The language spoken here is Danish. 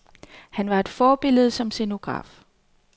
Han var et forbillede som scenograf.